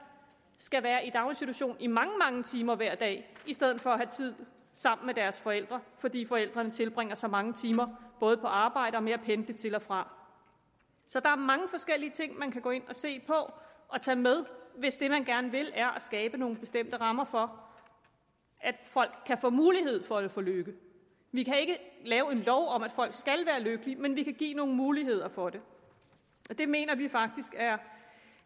skal være i daginstitution i mange mange timer hver dag i stedet for at have tid sammen med deres forældre fordi forældrene tilbringer så mange timer både på arbejde og med at pendle til og fra så der er mange forskellige ting man kan gå ind og se på og tage med hvis det man gerne vil er at skabe nogle bestemte rammer for at folk kan få mulighed for at få lykke vi kan ikke lave en lov om at folk skal være lykkelige men vi kan give nogle muligheder for det og det mener vi faktisk